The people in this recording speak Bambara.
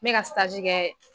N bɛ ka kɛ.